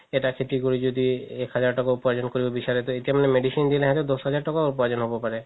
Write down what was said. এটা খেতি কৰি যদি এক হাজাৰ তকাও উপাৰ্জন কৰিব বিচাৰে এতিয়া মানে medicine দিলে সেহতৰ দহ হাজাৰ তকাও উপাৰ্জন হ'ব পাৰে